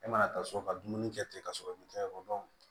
E mana taa so ka dumuni kɛ ten ka sɔrɔ i ma taa yɔrɔ dɔw